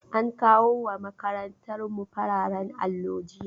An kawo ma makarantar mu fararen allo jiya